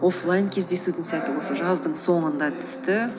офлайн кездесудің сәті осы жаздың соңына түсті